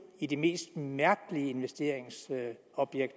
i de mest mærkelige investeringsobjekter